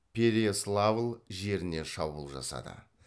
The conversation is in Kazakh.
переяславль жеріне шабуыл жасады